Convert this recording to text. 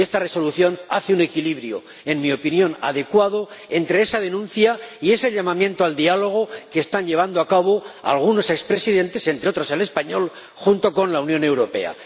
Y esta Resolución logra un equilibrio, en mi opinión adecuado, entre esa denuncia y ese llamamiento al diálogo que están llevando a cabo algunos expresidentes, entre otros el español, junto con la Unión Europea.